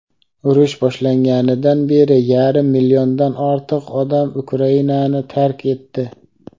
urush boshlanganidan beri yarim milliondan ortiq odam Ukrainani tark etdi.